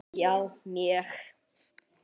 Já, mjög